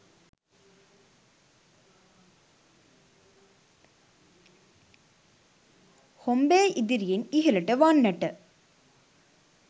හොම්බේ ඉදිරියෙන් ඉහළට වන්නට